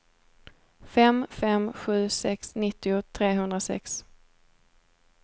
fem fem sju sex nittio trehundrasex